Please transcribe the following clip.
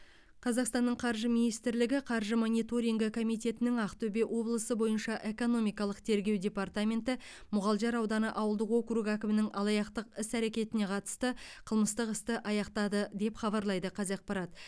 қазақстанның қаржы министрлігі қаржы мониторингі комитетінің ақтөбе облысы бойынша экономикалық тергеу департаменті мұғалжар ауданы ауылдық округі әкімінің алаяқтық іс әрекетіне қатысты қылмыстық істі аяқтады деп хабарлайды қазақпарат